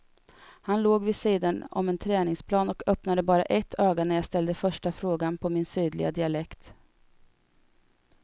Han låg vid sidan om en träningsplan och öppnade bara ett öga när jag ställde första frågan på min sydliga dialekt.